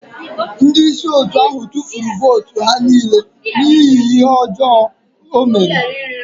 Ndị isi otu ahụ tụfuru votu ha niile n'ihi ihe ọjọọ o mere.